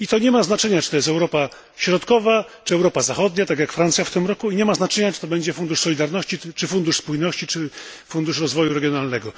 I nie ma to znaczenia, czy to jest Europa Środkowa czy Europa Zachodnia tak jak Francja w tym roku i nie ma znaczenia, czy to będzie Fundusz Solidarności, Fundusz Spójności czy Fundusz Rozwoju Regionalnego.